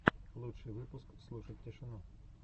лучший выпуск слушать тишину